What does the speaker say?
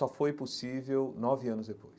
Só foi possível nove anos depois.